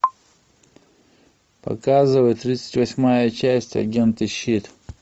показывай тридцать восьмая часть агенты щит